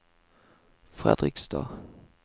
Fredrikstad